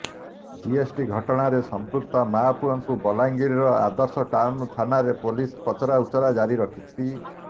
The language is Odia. ଜିଏସଟି ଘଟଣାରେ ସଂପୃକ୍ତ ମା ପୁଅକୁ ବଲାଙ୍ଗିର ଆଦର୍ଶ ଟାଉନ୍ ଥାନାରେ ପୋଲିସ ପଚରା ଉଚରା ଜାରି ରଖିଛି